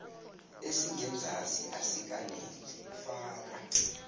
esingenzasi asikaneli faka